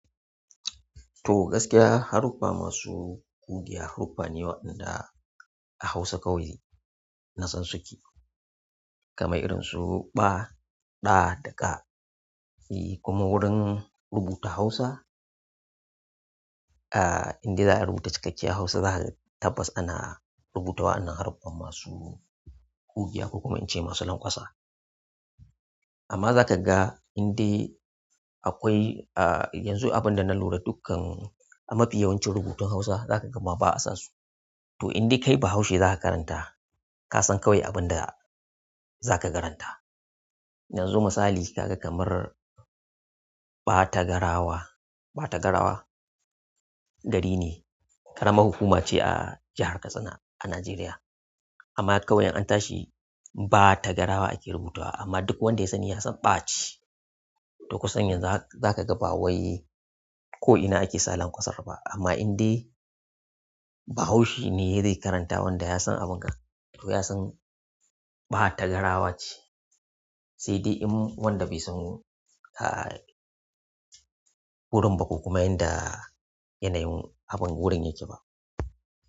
To gaskiya, haruffa masu ƙugiya haruffa ne waɗanda a Hausa kawai na san suke. Kamar irinsu "ba" "da" da "ka" e kuma wurin rubuta Hausa, ah, indai za a rubuta cikakke Hausa za ka tabbas ana rubutawa wa'anan haruffa masu ƙugiya ko kuma ince masu lanƙwasa. Amma za ka ga indai akwai, ah, yanzu abin da na lura dukkan a mafi yawancin rubutun Hausa za ka ga ma ba a sa su. To indai kai bahaushe za ka karanta, ka san kawai abin da za ka karanta. Yanzu misali ka ga kamar Batagarawa. Batagarawa gari ne, ƙaramar hukuma ce a jihar Katsina a Najeriya. Amma kawai an tashi Batagarawa ake rubutuwa amma duk wanda ya sani ya san ba ceh. To kusan yanzu za ka ga ba wai ko'ina ake sa lanƙwasa ba. Amma indai bahaushe ne ya zai karanta wanda ya san abin ga to ya san Batagarawa ce. Sai dai in wanda bai san ah gurin bah ko kuma yanda ah yanayin abin gurin yake bah.